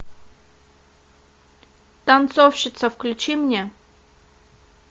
танцовщица включи мне